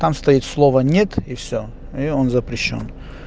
там стоит слово нет и всё и он запрещён